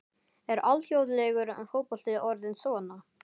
Er alþjóðlegur fótbolti orðinn svona?